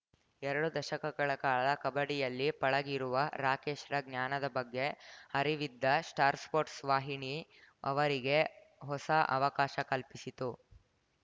ಎರಡು ದಶಕಗಳ ಕಾಲ ಕಬಡ್ಡಿಯಲ್ಲಿ ಪಳಗಿರುವ ರಾಕೇಶ್‌ರ ಜ್ಞಾನದ ಬಗ್ಗೆ ಅರಿವಿದ್ದ ಸ್ಟಾರ್ ಸ್ಪೋರ್ಟ್ಸ್ ವಾಹಿನಿ ಅವರಿಗೆ ಹೊಸ ಅವಕಾಶ ಕಲ್ಪಿಸಿತು